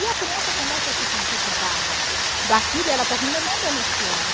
E a criança começa a se sentir culpada daquilo e ela termina não denunciando.